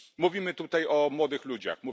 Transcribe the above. Mówimy tutaj o młodych ludziach.